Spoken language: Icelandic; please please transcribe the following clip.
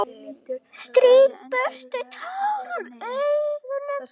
Strýk burtu tár úr augunum.